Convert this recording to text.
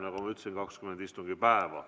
Nagu ma ütlesin, aega on 20 istungipäeva.